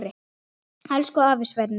Elsku afi Svenni.